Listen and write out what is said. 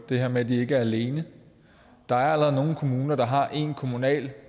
det her med at de ikke er alene der er allerede nogle kommuner der har en kommunal